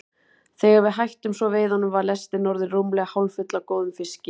Þegar við hættum svo veiðunum var lestin orðin rúmlega hálffull af góðum fiski.